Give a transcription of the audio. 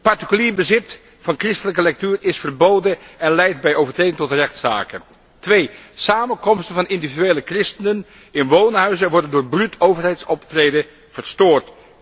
1 Particulier bezit van christelijke lectuur is verboden en leidt bij overtreding tot rechtszaken. 2 Samenkomsten van individuele christenen in woonhuizen worden door bruut overheidsoptreden verstoord.